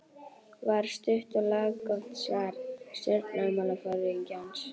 var stutt og laggott svar stjórnmálaforingjans.